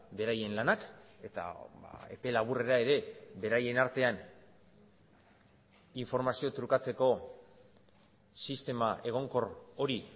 beraien lanak eta epe laburrera ere beraien artean informazio trukatzeko sistema egonkor hori